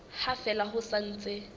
ha fela ho sa ntse